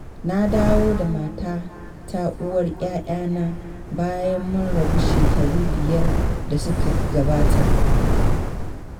Na dawo da matata uwar 'ya'yana bayan mun rabu shekaru biyar da suka gabata.